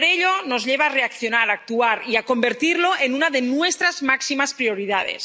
Ello nos lleva a reaccionar, a actuar y a convertirlo en una de nuestras máximas prioridades.